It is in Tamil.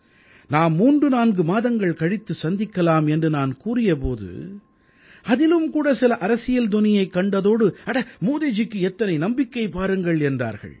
நாம் 34 மாதங்கள் கழித்து சந்திக்கலாம் என்று நான் கூறிய போது அதிலும் கூட சில அரசியல் தொனியைக் கண்டதோடு அட மோதிஜிக்கு எத்தனை நம்பிக்கை பாருங்கள் என்றார்கள்